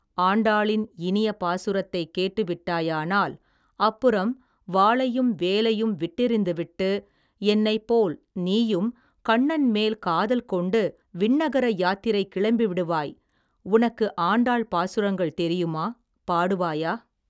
ஆண்டாளின் இனிய பாசுரத்தைக் கேட்டு விட்டாயானால் அப்புறம் வாளையும் வேலையும் விட்டெறிந்து விட்டு என்னைப் போல் நீயும் கண்ணன் மேல் காதல் கொண்டு விண்ணகர யாத்திரை கிளம்பி விடுவாய் உனக்கு ஆண்டாள் பாசுரங்கள் தெரியுமா பாடுவாயா.